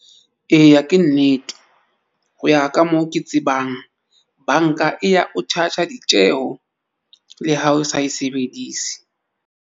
Eya, ke nnete ho ya ka moo ke tsebang. Banka e ya o charger ditjeho le ha o sa e sebedise.